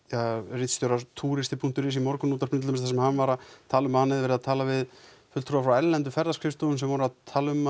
ritstjóra túristi punktur is í Morgunútvarpinu þar sem hann var að tala um að hann hefði verið að tala við fulltrúa frá erlendum ferðaskrifstofum sem voru að tala um